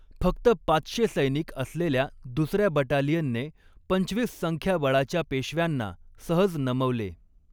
फक्त पाचशे सैनिक असलेल्या दुसर्या बटालियनने पंचवीस संख्याबळाच्या पेशव्यांना सहज नमवले